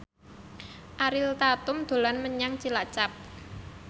Ariel Tatum dolan menyang Cilacap